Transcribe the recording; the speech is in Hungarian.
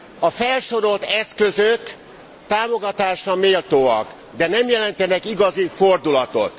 A felsorolt eszközök támogatásra méltóak, de nem jelentenek igazi fordulatot.